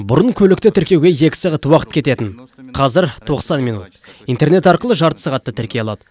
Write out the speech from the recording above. бұрын көлікті тіркеуге екі сағат уақыт кететін қазір тоқсан минут интернет арқылы жарты сағатта тіркей алады